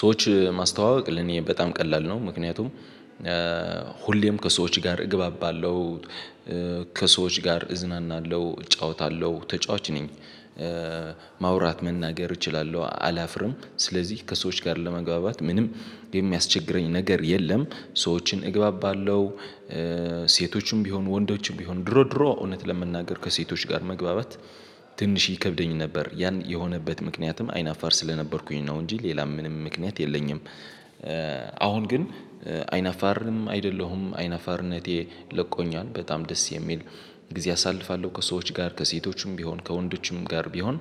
ሰዎች ማስተዋወቅ ለኔ በጣም ቀላል ነው። ምክንያቱም ሁሌም ከሰዎች ጋር እገባባለሁ ከሰዎች ጋር እዝናናለሁ እጫወታለሁ ተጫዋች ነኝ። ማውራት መናገር እችላለሁ አላፍርም ስለዚህ ከሰዎች ጋር ለመግባባት ምንም የሚያስቸግረኝ ነገር የለም። ሰዎችን እግባባለሁ። ሴቶችም ቢሆኑ ወንዶችም ቢሆኑ ድሮ ድሮ እውነት ለመናገር ከሴቶች ጋር መግባባት ትንሽ ይከብደኝ ነበር ያን የሆነበት ምክንያትም አይናፋር ስለነበርኩኝ ነው እንጂ ሌላም ምንም ምክንያት የለኝም። አሁን ግን አይነፋርም አይደለሁም አይነፋርነቴ ለቆኛል በጣም ደስ የሚል ጊዜ አሳልፋለሁ ከሰዎች ጋር ከሴቶችም ቢሆን ከወንዶችም ጋር ቢሆን